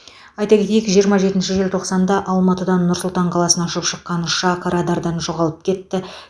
айта кетейік жиырма жетінші желтоқсанда алматыдан нұр сұлтан қаласына ұшып шыққан ұшақ радардан жоғалып кетті